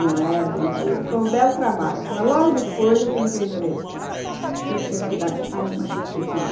Não é brincadeira, foi um belo trabalho, mas logo depois eu vendi a empresa, que eu tinha que cuidar de pai e mãe que pediam.